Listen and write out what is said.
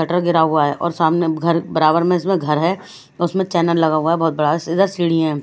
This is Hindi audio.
बटर गिरा हुआ है और सामने घर बराबर में इसमें घर है और उसमें चैनल लगा हुआ है बहुत बड़ा इधर सीढ़ी है।